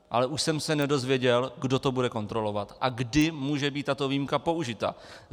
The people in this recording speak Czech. Ale už jsem se nedozvěděl, kdo to bude kontrolovat a kdy může být tato výjimka použita.